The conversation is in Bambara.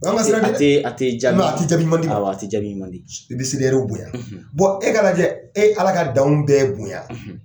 Anw ka siran tɛ dɛ; a te a te jaabi; ate jaabi ɲuman d' i ma; awɔ a te jaabi ɲuman di; i bɛ seli ɛriw bonya; ; e ka lajɛ e ala ka danw bɛɛ bonya;